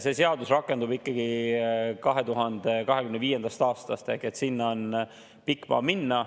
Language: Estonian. See seadus rakendub 2025. aastast, sinna on pikk maa minna.